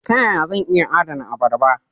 Ta yaya zan iya adana abarba?